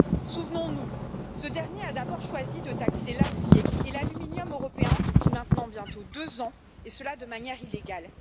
Souvenons nous, ce dernier a d'abord choisi de taxer l'acier et l'aluminium européens, depuis maintenant bientôt deux ans, et cela de manière illégale.